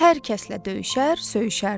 Hər kəslə döyüşər, söyüşərdi.